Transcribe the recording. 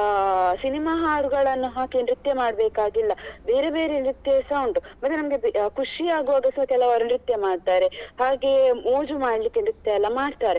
ಅಹ್ cinema ಹಾಡುಗಳನ್ನು ಹಾಕಿ ನೃತ್ಯ ಮಾಡ್ಬೇಕಾಗಿಲ್ಲ ಬೇರೆ ಬೇರೆ ನೃತ್ಯ ಸ ಉಂಟು ಮತ್ತೆ ನಮ್ಗೆ ಖುಷಿಯಾಗುವಾಗ ಸ ಕೆಲವರು ನೃತ್ಯ ಮಾಡ್ತಾರೆ ಹಾಗೆ ಮೋಜು ಮಾಡ್ಲಿಕ್ಕೆ ನೃತ್ಯ ಎಲ್ಲ ಮಾಡ್ತಾರೆ